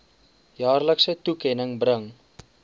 jaarlikse toekenning bring